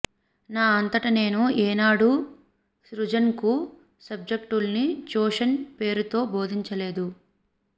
నా అంతట నేను ఏనాడూ సృజన్కు సబ్జెక్ట్ను ట్యూషన్ పేరుతో బోధించలేదు